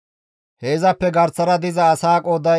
He izappe garsara diza asaa qooday 54,400.